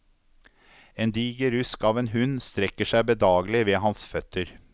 En diger rusk av en hund strekker seg bedagelig ved hans føtter.